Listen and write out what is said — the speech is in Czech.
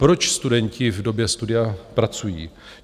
Proč studenti v době studia pracují?